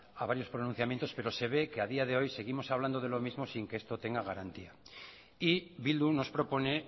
a varios pronunciamientos pero se ve que a día de hoy seguimos hablando de lo mismo sin que esto tenga garantía y bildu nos propone